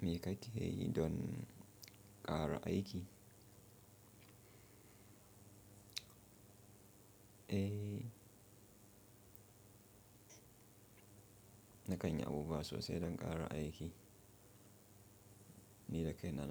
Me ka yi ke yi don ƙara aiki? Eh na kanyi abubuwa sosai don ƙara aiki. Ni da kai na